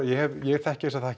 ég þekki þessa